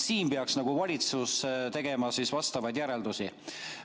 Siin peaks valitsus tegema vastavaid järeldusi.